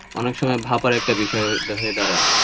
অনেক সময় ভাববার একটা বিষয় হয়ে দাঁড়ায়,